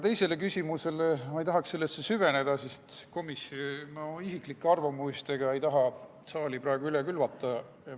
Teise küsimusse ma ei tahaks süveneda, sest ei taha isiklike arvamustega saali üle külvata.